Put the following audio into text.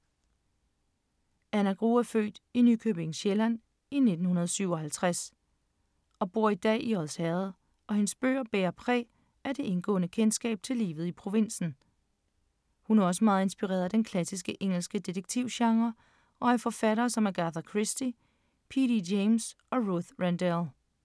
Anna Grue er født i Nykøbing Sjælland i 1957 og bor i dag i Odsherred og hendes bøger bærer præg af det indgående kendskab til livet i provinsen. Hun er også meget inspireret af den klassiske engelske detektivgenre og af forfattere som Agatha Christie, P.D. James og Ruth Rendell.